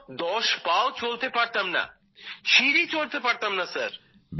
আমি তো দশ পাও চলতে পারতাম না সিঁড়ি চড়তে পারতাম না স্যার